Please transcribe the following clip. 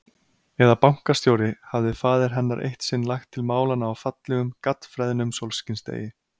Eða bankastjóri, hafði faðir hennar eitt sinn lagt til málanna á fallegum, gaddfreðnum sólskinsdegi.